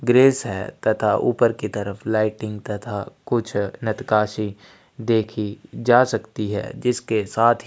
grace है तथा ऊपर की तरफ लाइटिंग तथा कुछ नतकासी देखी जा सकती है जिसके साथ ही --